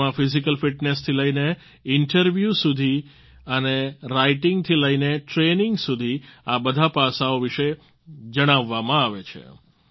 તેમાં physical fitness થી લઈને ઈન્ટર્વ્યૂ સુધી અને રાઈટિંગ થી લઈને ટ્રેનિંગ સુધી આ બધા પાસાઓ વિશે જણાવવામાં આવે છે